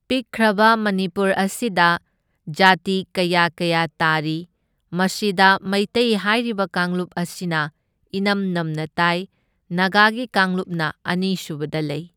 ꯄꯤꯛꯈ꯭ꯔꯕ ꯃꯅꯤꯄꯨꯔ ꯑꯁꯤꯗ ꯖꯥꯇꯤ ꯀꯌꯥ ꯀꯌꯥ ꯇꯥꯔꯤ, ꯃꯁꯤꯗ ꯃꯩꯇꯩ ꯍꯥꯏꯔꯤꯕ ꯀꯥꯡꯂꯨꯞ ꯑꯁꯤꯅ ꯏꯅꯝ ꯅꯝꯅ ꯇꯥꯏ, ꯅꯒꯥꯒꯤ ꯀꯥꯡꯂꯨꯞꯅ ꯑꯅꯤ ꯁꯨꯕꯗ ꯂꯩ꯫